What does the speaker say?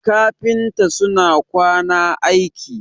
kafinta suna kwana aiki